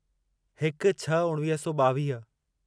हिकु छह उणिवीह सौ ॿावीह